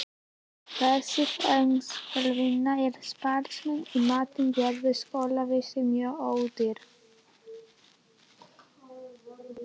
Þessi þegnskylduvinna og sparsemi í mat gerðu skólavist mjög ódýra.